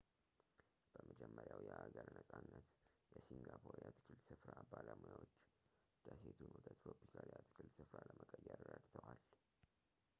በመጀመሪያው የሀገር ነጻነት የሲንጋፖር የአትክልት ስፍራ ባለሙያዎች ደሴቱን ወደ ትሮፒካል የአትክልት ስፍራ ለመቀየር ረድተዋል